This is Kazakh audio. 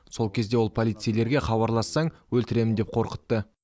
сол кезде ол полицейлерге хабарлассаң өлтіремін деп қорқытты